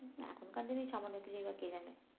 এখনকার দিনে এই সামান্য বা কে জানে